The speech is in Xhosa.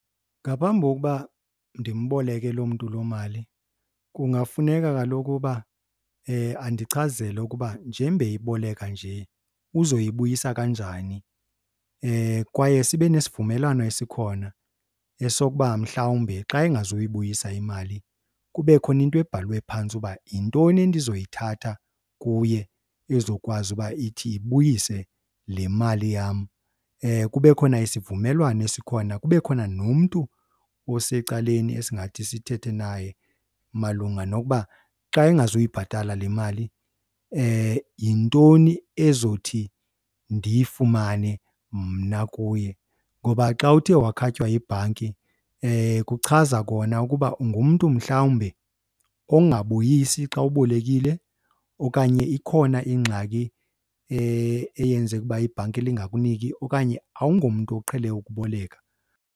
Ngaphambi kokuba ndimboleke loo mntu loo mali kungafuneka kaloku uba andichazele ukuba njengoba eyiboleka nje uzoyibuyisa kanjani? Kwaye sibe nesivumelwano esikhona esokuba mhlawumbi xa engazoyibuyisa imali kube khona into ebhalwe phantsi uba yintoni endizoyithatha kuye ezokwazi uba ithi ibuyise le mali yam. Kube khona isivumelwano esikhona, kube khona nomntu osecaleni esingathi sithethe naye malunga nokuba xa engazuyibhatala le mali yintoni ezothi ndiyifumane mna kuye. Ngoba xa uthe wakhatywa yibhanki kuchaza kona ukuba ungumntu mhlawumbi ongabuyisi xa ubolekile okanye ikhona ingxaki eyenze ukuba ibhanki lingakuniki okanye awungomntu uqhele ukuboleka.